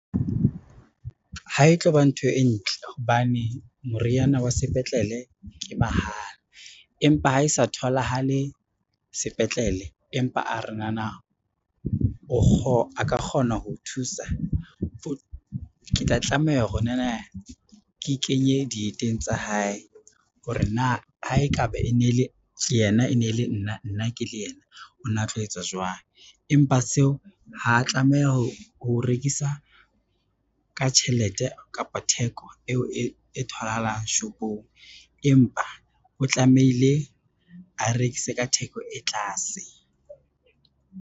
Ha e tlo ba ntho e ntle hobane, moriana wa sepetlele e mahala, empa ha e sa tholahale sepetlele empa a re nana o ka kgona ho o thusa ke tla tlameha hore nana ke kenye dieteng tsa hae, hore na ha e ka ba e ne le yena, e ne le nna nna ke le yena o na tlo etsa jwang. Empa seo ha tlameha ho rekisa ka tjhelete kapa theko eo e tholahalang shopong, empa o tlamehile a rekise ka theko e tlase.